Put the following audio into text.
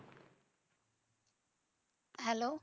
Hello